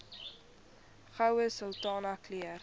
goue sultana keur